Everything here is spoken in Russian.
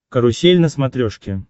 карусель на смотрешке